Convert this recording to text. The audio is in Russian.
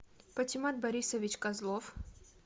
патимат борисович козлов